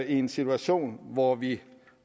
i en situation hvor vi